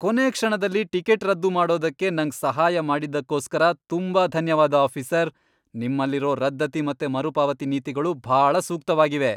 ಕೊನೇ ಕ್ಷಣದಲ್ಲಿ ಟಿಕೆಟ್ ರದ್ದು ಮಾಡೋದಕ್ಕೆ ನಂಗ್ ಸಹಾಯ ಮಾಡಿದ್ದಕ್ಕೋಸ್ಕರ ತುಂಬಾ ಧನ್ಯವಾದ ಆಫೀಸರ್! ನಿಮ್ಮಲ್ಲಿರೋ ರದ್ದತಿ ಮತ್ತೆ ಮರುಪಾವತಿ ನೀತಿಗಳು ಭಾಳ ಸೂಕ್ತವಾಗಿವೆ.